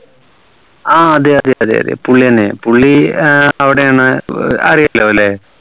ആഹ് അതെ അതെ അതെ അതെ പുള്ളി തന്നെ പുള്ളി ഏർ അവിടെയാണ് അറിയാലോല്ലേ